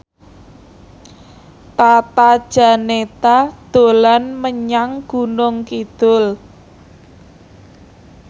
Tata Janeta dolan menyang Gunung Kidul